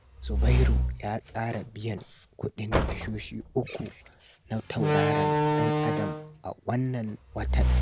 Zubairu ya tsara biyan kuɗin tashoshi uku na tauraron ɗan Adam a wannan watan